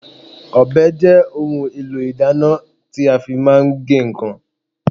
Ọbẹ̀ jẹ́ ohun èlò ìdáná tí a fi máa ń ge nǹkan.